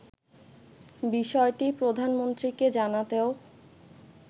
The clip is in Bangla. বিষয়টি প্রধানমন্ত্রীকে জানাতেও